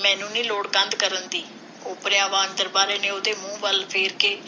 ਮੈਨੂੰ ਨੀ ਲੋੜ ਕੰਧ ਕਰਨ ਦੀ! ਓਪਰਿਆਂ ਵਾਂਗ ਦਰਬਾਰੇ ਨੇ ਉਹਦੇ ਮੂੰਹ ਵੱਲ ਫੇਰ ਕੇ,